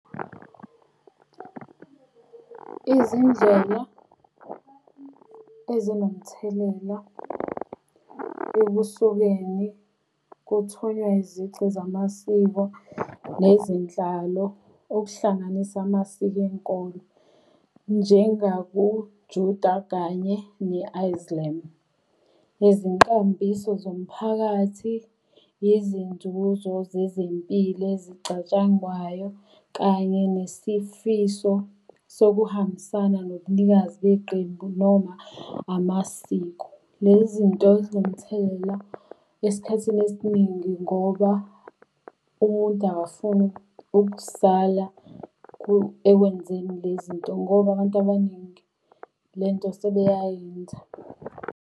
Izindlela ezinomthelela ukusukeni kuthunywa izici zamasiko nezenhlalo, okuhlanganisa amasiko enkolo njengakuJuda kanye ne-Islam. Nezinkambiso zomphakathi, izinzuzo zezempilo ezichatshangwayo, kanye nesifiso sokuhambisana nobunikazi beqembu noma amasiko. Le zinto zinomthelela esikhathini esiningi ngoba umuntu akafuni ukusala ekwenzeni le zinto ngoba abantu abaningi le nto sebeyayenza.